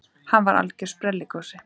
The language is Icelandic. Hann var algjör sprelligosi.